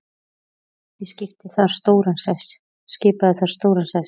Snædís skipaði þar stóran sess.